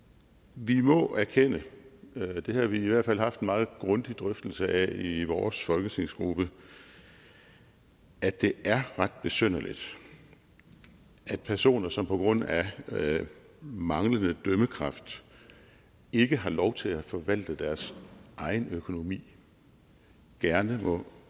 vi må erkende det har vi i hvert fald haft en meget grundig drøftelse af i vores folketingsgruppe at det er ret besynderligt at personer som på grund af manglende dømmekraft ikke har lov til at forvalte deres egen økonomi gerne må